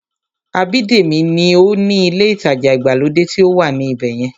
Abídèmí ní ó ni ilé ìtajà ìgbàlódé tí ó wà ní ibẹ̀yẹn